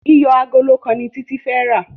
iyọ Àgòló kán ní Titi fè rá.